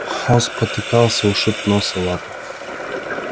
он спотыкался ушиб нос и лапы